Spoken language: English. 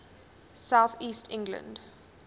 south east england